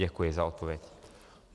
Děkuji za odpověď.